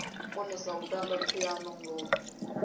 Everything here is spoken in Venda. konesa u tamba phiano ngoho